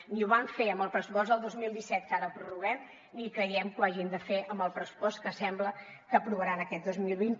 ni ho van fer amb el pressupost del dos mil disset que ara prorroguem ni creiem que ho hagin de fer amb el pressupost que sembla que aprovaran aquest dos mil vint